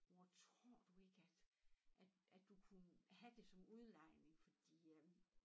Mor tror du ikke at at at du kunne have det som udlejning fordi øh